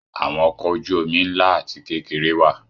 Àwọn ọkọ̀ ojú-omi ńlá àti kékeré wà.